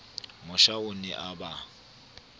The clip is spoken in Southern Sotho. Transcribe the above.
mosha o ne a ba